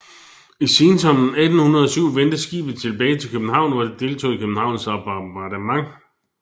I sensommeren 1807 vendte skibet tilbage til København hvor det deltog i Københavns bombardement